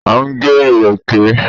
À ń gé ìrèké.